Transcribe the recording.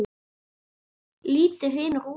Lítið hrynur úr honum.